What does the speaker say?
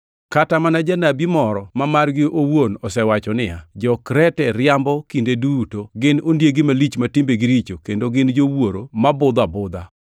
Kata mana janabi moro ma margi owuon osewacho niya, “Jo-Krete riambo kinde duto, gin ondiegi malich ma timbegi richo kendo gin jowuoro ma budho abudha.”